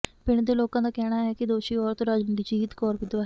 ਪਿੰਡ ਦੇ ਲੋਕਾਂ ਦਾ ਕਹਿਣਾ ਹੈ ਕਿ ਦੋਸ਼ੀ ਔਰਤ ਰਣਜੀਤ ਕੌਰ ਵਿਧਵਾ ਹੈ